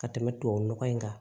Ka tɛmɛ tubabu nɔgɔ in kan